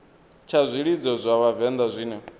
tsha zwilidzo zwa vhavenḓa zwine